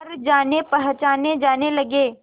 पर जानेपहचाने जाने लगे